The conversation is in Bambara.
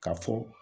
Ka fɔ